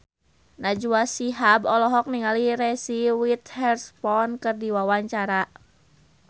Najwa Shihab olohok ningali Reese Witherspoon keur diwawancara